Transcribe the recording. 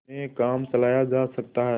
में काम चलाया जा सकता है